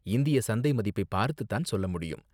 இந்திய சந்தை மதிப்பைப் பார்த்து தான் சொல்ல முடியும்.